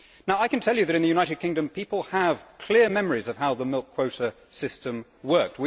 I can tell you that in the United Kingdom people have clear memories of how the milk quota system worked.